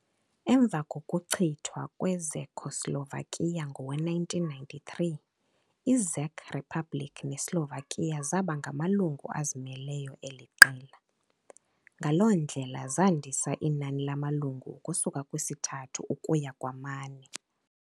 Emva kokuchithwa kweCzechoslovakia ngowe-1993, iCzech Republic neSlovakia zaba ngamalungu azimeleyo eli qela, ngaloo ndlela zandisa inani lamalungu ukusuka kwisithathu ukuya kwamane.